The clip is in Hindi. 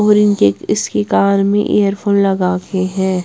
और इनके इसकी कार में इयरफोन लगाके हैं।